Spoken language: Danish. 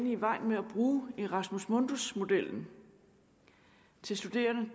i vejen med at bruge erasmus mundus modellen til studerende